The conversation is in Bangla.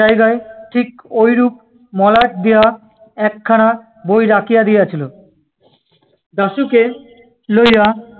জায়গায় ঠিক ঐরূপ মলাট দেওয়া একখানা ব‍ই রাখিয়া দিয়াছিল। দাশুকে লইয়া